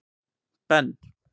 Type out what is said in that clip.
Ben